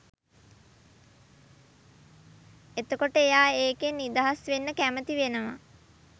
එතකොට එයා ඒකෙන් නිදහස් වෙන්න කැමැති වෙනවා